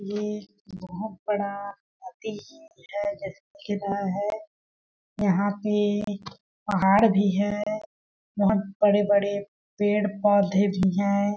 ये बहुत बड़ा नदी है जैसे दिख रहा है यहां पे पहाड़ भी है बहुत बड़े-बड़े पेड़ पौधे भी हैं।